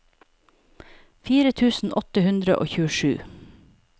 fire tusen åtte hundre og tjuesju